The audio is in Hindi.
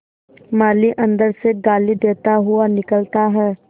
माली अंदर से गाली देता हुआ निकलता है